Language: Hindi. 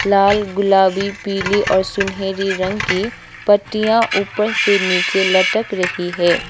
लाल गुलाबी पीली और सुनहरी रंग की पत्तियां ऊपर से नीचे लटक रही है।